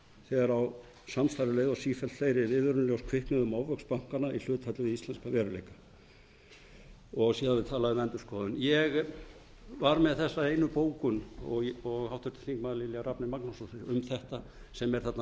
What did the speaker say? þegar á samstarfið leið og sífellt fleiri viðurlög kviknuðu um ofvöxt bankanna í hlutfalli við íslenskan veruleika síðan er talað um endurskoðun ég var með þessa einu bókun og háttvirtir þingmenn lilja rafney magnúsdóttir um þetta sem er þarna